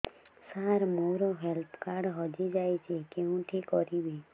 ସାର ମୋର health card ହଜି ଯାଇଛି କେଉଁଠି କରିବି